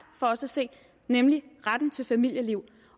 for os at se nemlig retten til familieliv